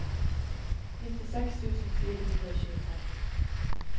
nittiseks tusen fire hundre og tjuefem